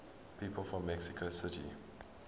people from mexico city